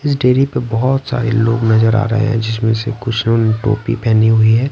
इस डेरी पर बहुत सारे लोग नजर आ रहे हैं जिसमें से कुछ लोगों ने टोपी पहनी हुई है।